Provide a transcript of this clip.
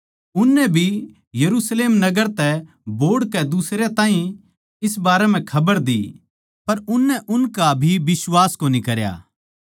उननै भी यरुशलेम नगर तै बोहड़ कै दुसरयां ताहीं इस बारें म्ह खबर दी पर उननै उनका भी बिश्वास कोनी करया